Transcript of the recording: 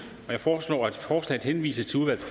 jeg foreslår at forslaget henvises til udvalget